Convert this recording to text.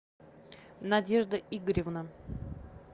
надежда игоревна